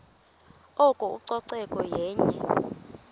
oko ucoceko yenye